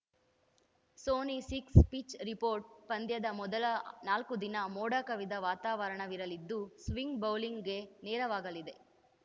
Sony Six pitch report ಪಂದ್ಯದ ಮೊದಲ ನಾಲ್ಕು ದಿನ ಮೋಡ ಕವಿದ ವಾತಾವರಣವಿರಲಿದ್ದು ಸ್ವಿಂಗ್‌ ಬೌಲಿಂಗ್‌ಗೆ ನೆರವಾಗಲಿದೆ